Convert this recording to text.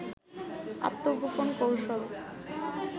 আত্মগোপন কৌশল